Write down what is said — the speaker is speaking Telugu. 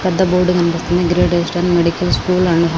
పెద్ధ బోర్డు కనిపిస్తుంది గ్రేట్ ఈస్ట్రన్ మెడికల్ స్కూల్ .